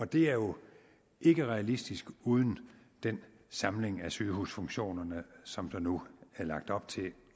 det er jo ikke realistisk uden den samling af sygehusfunktionerne som der nu er lagt op til